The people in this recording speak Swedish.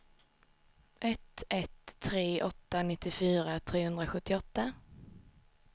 ett ett tre åtta nittiofyra trehundrasjuttioåtta